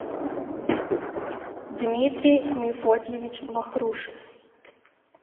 дмитрий мефодьевич вахрушев